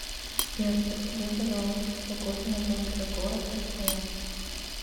сбер подскажи пожалуйста погоду на завтра город красноярск